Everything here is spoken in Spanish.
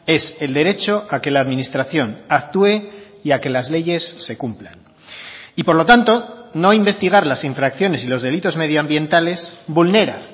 es el derecho a que la administración actúe y a que las leyes se cumplan y por lo tanto no investigar las infracciones y los delitos medioambientales vulnera